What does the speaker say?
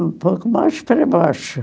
Um pouco mais para baixo.